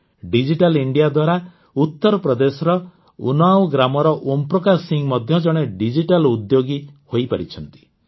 digital India ଦ୍ୱାରା ଉତ୍ତରପ୍ରଦେଶର ଉନ୍ନାଓ ଗ୍ରାମର ଓମପ୍ରକାଶ ସିଂହ ମଧ୍ୟ ଜଣେ ଡିଜିଟାଲ ଉଦ୍ୟୋଗୀ ଏଣ୍ଟରପ୍ରେନ୍ୟୁର ହୋଇପାରିଛନ୍ତି